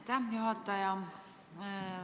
Aitäh, juhataja!